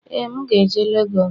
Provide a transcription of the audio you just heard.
ee, m ga-eje Lagos